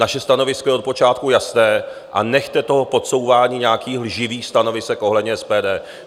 Naše stanovisko je od počátku jasné a nechte toho podsouvání nějakých lživých stanovisek ohledně SPD.